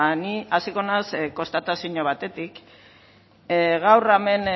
ni hasiko naiz konstatazio batetik gaur hemen